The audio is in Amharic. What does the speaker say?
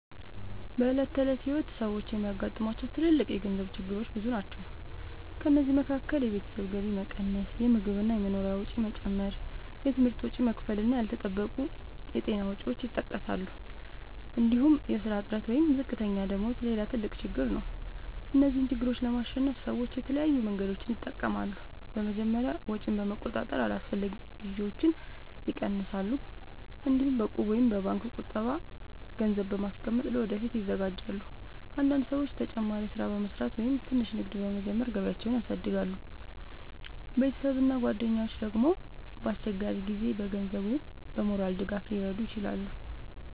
በዕለት ተዕለት ሕይወት ሰዎች የሚያጋጥሟቸው ትልልቅ የገንዘብ ችግሮች ብዙ ናቸው። ከእነዚህ መካከል የቤተሰብ ገቢ መቀነስ፣ የምግብ እና የመኖሪያ ወጪ መጨመር፣ የትምህርት ወጪ መክፈል እና ያልተጠበቁ የጤና ወጪዎች ይጠቀሳሉ። እንዲሁም የሥራ እጥረት ወይም ዝቅተኛ ደመወዝ ሌላ ትልቅ ችግር ነው። እነዚህን ችግሮች ለማሸነፍ ሰዎች የተለያዩ መንገዶችን ይጠቀማሉ። በመጀመሪያ ወጪን በመቆጣጠር አላስፈላጊ ግዢዎችን ይቀንሳሉ። እንዲሁም በእቁብ ወይም በባንክ ቁጠባ ገንዘብ በማስቀመጥ ለወደፊት ይዘጋጃሉ። አንዳንድ ሰዎች ተጨማሪ ሥራ በመስራት ወይም ትንሽ ንግድ በመጀመር ገቢያቸውን ያሳድጋሉ። ቤተሰብ እና ጓደኞች ደግሞ በአስቸጋሪ ጊዜ በገንዘብ ወይም በሞራል ድጋፍ ሊረዱ ይችላሉ።